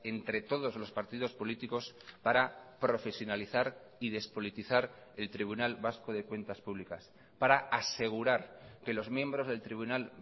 entre todos los partidos políticos para profesionalizar y despolitizar el tribunal vasco de cuentas públicas para asegurar que los miembros del tribunal